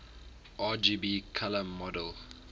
rgb color model